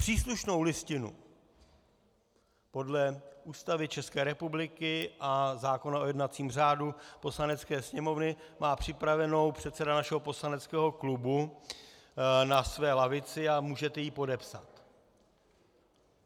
Příslušnou listinu podle Ústavy České republiky a zákona o jednacím řádu Poslanecké sněmovny má připravenou předseda našeho poslaneckého klubu na své lavici a můžete ji podepsat.